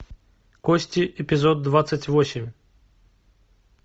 кости эпизод двадцать восемь